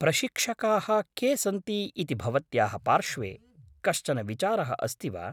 प्रशिक्षकाः के सन्ति इति भवत्याः पार्श्वे कश्चन विचारः अस्ति वा?